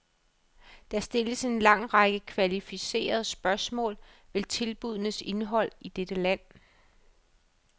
Der kan stilles en lang række kvalificerede spørgsmål ved tilbuddenes indhold i dette land.